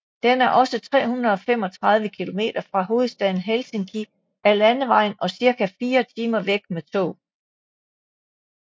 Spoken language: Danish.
Den er også 335 km fra hovedstaden Helsinki af landevejen og cirka fire timer væk med tog